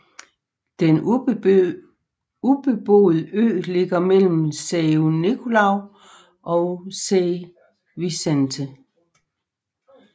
Den ubeboede ø ligger mellem São Nicolau og São Vicente